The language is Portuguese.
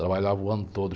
Trabalhava o ano todo.